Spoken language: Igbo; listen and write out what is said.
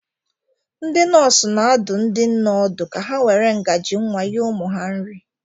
Ndị nọọsụ na-adụ ndị nne ọdụ ka ha were ngaji nwa nye ụmụ ha nri